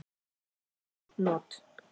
Efn not